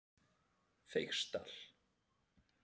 Feigsdal